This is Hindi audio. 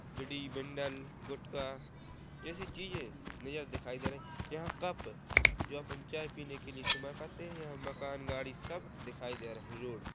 बीड़ी बंडल गुटखा जैसी चीजे मुझे दिखाई दे रहे यहाँ कप जो अपन चाय पीने के लिए इस्तेमाल करते है यहाँ मकान गाड़ी सब दिखाई द रहे रोड --